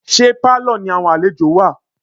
Ṣé Pálọ̀ ni àwọn àlejò wà?